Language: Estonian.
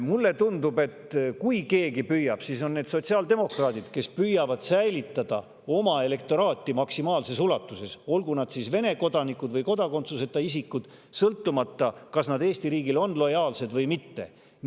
Mulle tundub, et kui on keegi, kes püüab, siis on need sotsiaaldemokraadid, kes püüavad maksimaalses ulatuses säilitada oma elektoraati, sõltumata sellest, kas nende on Vene kodanikud või kodakondsuseta isikud ja Eesti riigile lojaalsed või mitte.